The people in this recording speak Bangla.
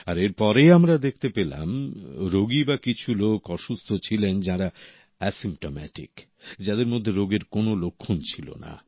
আর এর পরে আমরা দেখতে পেলাম রোগী বা কিছু লোক অসুস্থ ছিলেন যাঁরা অ্যাসিম্পটোমেটিক যাদের মধ্যে রোগের কোনো লক্ষণ ছিল না